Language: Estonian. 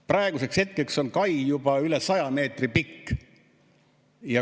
Praeguseks on kai juba üle 100 meetri pikk.